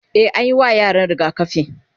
e anyi wa yaran rigakafi